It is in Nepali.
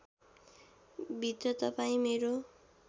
भित्र तपाईँ मेरो